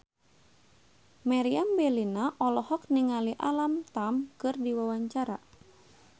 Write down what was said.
Meriam Bellina olohok ningali Alam Tam keur diwawancara